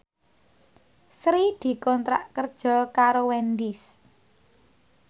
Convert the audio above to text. Sri dikontrak kerja karo Wendys